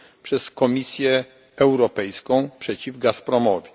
przez Komisję Europejską przeciw Gazpromowi.